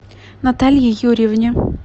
наталье юрьевне